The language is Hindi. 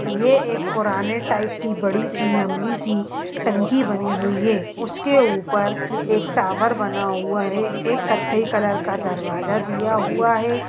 यह एक पुराने टाइप की बड़ी सी लम्बी सी टंकी बनी हुई है उसके ऊपर एक टावर बना हुआ है एक कथई कलर का दरवाजा दिया हुआ है।